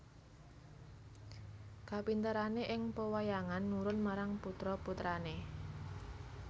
Kapinterané ing pewayangan nurun marang putra putrané